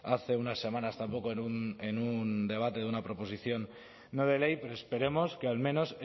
hace unas semanas tampoco en un debate de una proposición no de ley pero esperemos que al menos